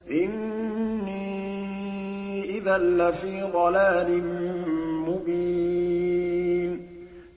إِنِّي إِذًا لَّفِي ضَلَالٍ مُّبِينٍ